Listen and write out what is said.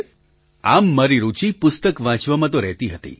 પ્રધાનમંત્રી આમ મારી રુચિ પુસ્તક વાંચવામાં તો રહેતી હતી